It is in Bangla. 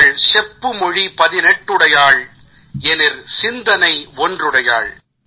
ইভাল সেপ্পুমোঝি পাধিনেতুদয়াল এনিল সিন্ধনাই ওন্দ্রুদয়াল